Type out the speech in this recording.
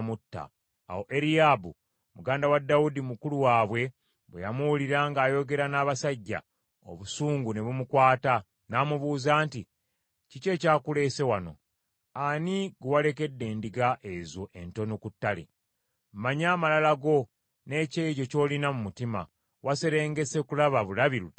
Awo Eriyaabu, muganda wa Dawudi mukulu waabwe bwe yamuwulira ng’ayogera n’abasajja, obusungu ne bumukwata, n’amubuuza nti, “Kiki ekyakuleese wano? Ani gwe walekedde endiga ezo entono ku ttale? Mmanyi amalala go n’ekyejo ky’olina mu mutima, waserengese kulaba bulabi lutalo.”